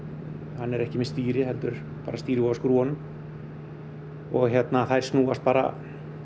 hann er ekki með stýri heldur stýri á skrúfunum og þær snúast bara